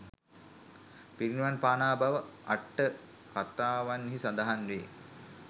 පිරිනිවන් පානා බව අට්ඨ කතාවන්හි සඳහන් වේ.